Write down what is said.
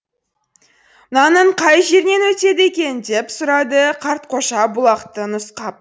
мынаның қай жерінен өтеді екен деп сұрады қартқожа бұлақты нұсқап